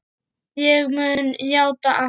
Ég mun játa allt.